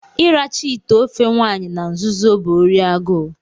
ịracha ite ofe nwanyi na nzuzo bụ órí agụụ